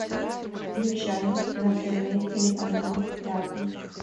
включай на тв телеканал пятый